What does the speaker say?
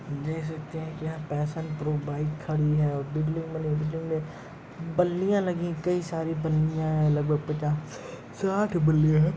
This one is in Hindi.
देख सकते हैं की यहाँ फैशन प्रो बाइक खड़ी है और बिल्डिंग में बल्लियाँ लगी हैं। कई सारी बल्लियाँ हैं लगभग पचास-साठ बल्लियाँ है।